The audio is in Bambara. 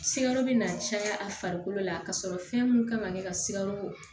Sikaro bɛ na caya a farikolo la ka sɔrɔ fɛn mun kan ka kɛ ka sika ko